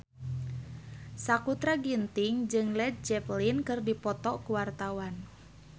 Sakutra Ginting jeung Led Zeppelin keur dipoto ku wartawan